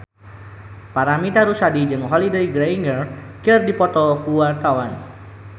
Paramitha Rusady jeung Holliday Grainger keur dipoto ku wartawan